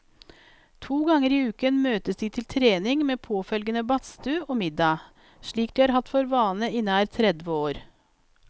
To ganger i uken møtes de til trening med påfølgende badstue og middag, slik de har hatt for vane i nær tredve år.